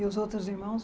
E os outros irmãos?